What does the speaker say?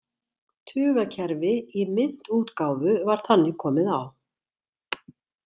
Tugakerfi í myntútgáfu var þannig komið á.